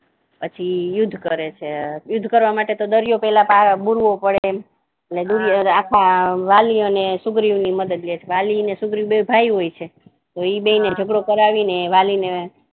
પછી યુદ્ધ કરે છે યુદ્ધ કરવા માટે તો દરિયો પહેલા પાર બુરવો પડે આખા વાલિઓ અને સુગ્રીવ ને ની મદદ લે છે વાલિઓ અને સુગ્રીવ બન્ને ભાઈઓ હોય છે એ બે ને ઝગડો કરાવીને વાલિ ને